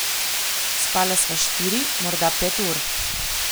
Spala sva štiri, morda pet ur.